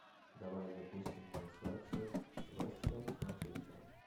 давай запустим трансляцию вест хэм с манчестером